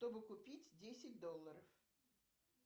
чтобы купить десять долларов